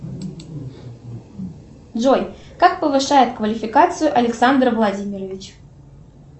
джой как повышает квалификацию александр владимирович